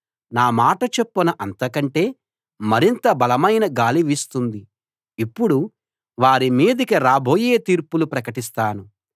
నా మాట చొప్పున అంతకంటే మరింత బలమైన గాలి వీస్తుంది ఇప్పుడు వారి మీదికి రాబోయే తీర్పులు ప్రకటిస్తాను